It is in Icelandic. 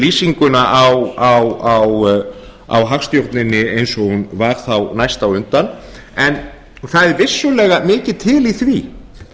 lýsinguna á hagstjórninni eins og hún var þá næst á undan en það er vissulega mikið til í því